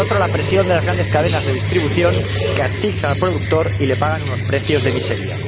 Y, por otro, la presión de las grandes cadenas de distribución, que asfixian al productor y le pagan unos precios de miseria.